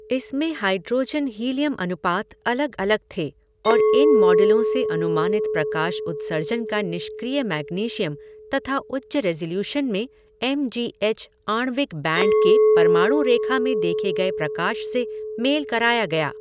इसमें hydrogen helium अनुपात अलग अलग थे और इन मॉडलों से अनुमानित प्रकाश उत्सर्जन का निष्क्रिय मैग्नीशियम तथा उच्च रेज़ोल्यूशन में एम जी एच आणविक बैंड के परमाणु रेखा में देखे गए प्रकाश से मेल कराया गया।